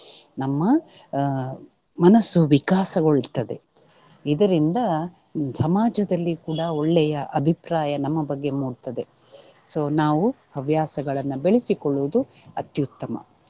ನಮ್ಮ ಅಹ್ ಮನಸ್ಸು ವಿಕಾಸಗೊಳ್ತದೆ. ಇದರಿಂದ ಸಮಾಜದಲ್ಲಿ ಕೂಡ ಒಳ್ಳೆಯ ಅಭಿಪ್ರಾಯ ನಮ್ಮ ಬಗ್ಗೆ ಮೂಡ್ತದೆ so ನಾವು ಹವ್ಯಾಸಗಳನ್ನ ಬೆಳೆಸಿಕೊಳ್ಳುವುದು ಅತ್ಯುತ್ತಮ.